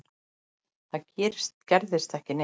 Það gerðist ekki neitt.